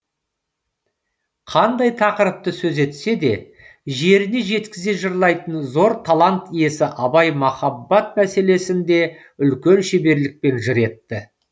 қандай тақырыпты сөз етсе де жеріне жеткізе жырлайтын зор талант иесі абай махаббат мәселесін де үлкен шеберлікпен жыр етті